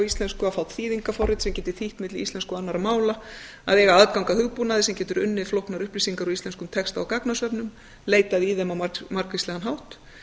íslensku að fá þýðingarforrit sem geti þýtt milli íslensku og annarra mála að eiga aðgang að hugbúnaði sem getur unnið flóknar upplýsingar á íslenskum texta út gagagnsöfnun leitað í þeim á margvíslegan hátt